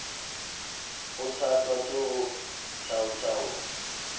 kgothatswa ke ho thaotha ho